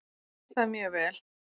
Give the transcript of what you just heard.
Ég skil það mjög vel